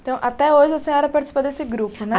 Então, até hoje a senhora participou desse grupo, né?